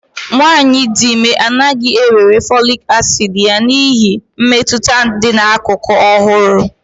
nwanyị dị ime anaghị ewere folic acid ya n'ihi mmetụta dị n'akụkụ ọ hụrụ